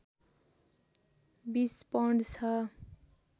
२० pound छ